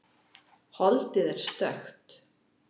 Holdið er stökkt.